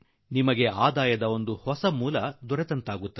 ಅಲ್ಲದೆ ಇದು ನಿಮ್ಮ ವರಮಾನದ ಇನ್ನೊಂದು ಹೊಸ ಮೂಲವಾದೀತು